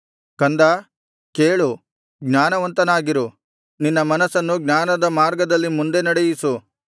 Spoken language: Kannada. ಕಂದಾ ಕೇಳು ಜ್ಞಾನವಂತನಾಗಿರು ನಿನ್ನ ಮನಸ್ಸನ್ನು ಜ್ಞಾನದ ಮಾರ್ಗದಲ್ಲಿ ಮುಂದೆ ನಡೆಯಿಸು